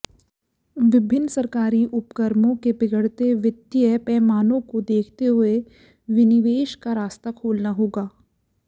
विभिन्न सरकारी उपक्रमों के बिगड़ते वित्तीय पैमानों को देखते हुए विनिवेश का रास्ता खोलना होगा